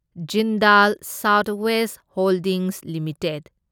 Jindal South West Holdings limited